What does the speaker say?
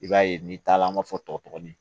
I b'a ye n'i taala an b'a fɔ tɔkin